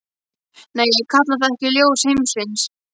Nei ég kalla það ekki ljós heimsins.